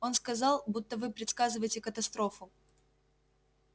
он сказал будто вы предсказываете катастрофу